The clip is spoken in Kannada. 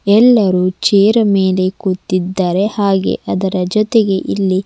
ಎಲ್ಲರೂ ಚೇರ ಮೇಲೆ ಕೂತ್ತಿದ್ದಾರೆ ಹಾಗೆ ಅದರ ಜೊತೆಗೆ ಇಲ್ಲಿ--